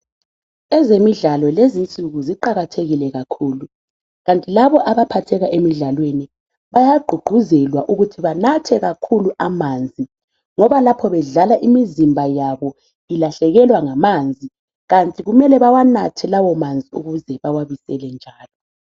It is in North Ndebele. Ezemidlalo lezi nsuku ziqakathekile kakhulu kanti labo abaphatheka emidlalweni bayagqugquzelwa ukuthi banathe kakhulu amanzi ngoba lapho bedlala imizimba yabo ilahlekelwa ngamanzi kanti kumele bawanathe lawo manzi ukuze bawabisele njalo